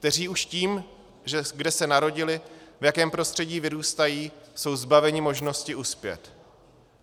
Kteří už tím, kde se narodili, v jakém prostředí vyrůstají, jsou zbaveni možnosti uspět.